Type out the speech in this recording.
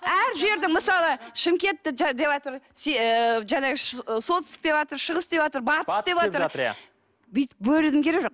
әр жерді мысалы шымкентті деватыр солтүстік деватыр шығыс деватыр батыс деватыр бүйтіп бөлудің керегі жоқ